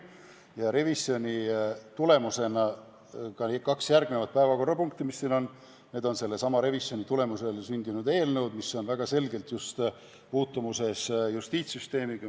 Ja revisjoni tulemusena on sündinud ka kaks järgmiste päevakorrapunktidena arutatavat eelnõu, mis on väga selgelt puutumuses justiitssüsteemiga.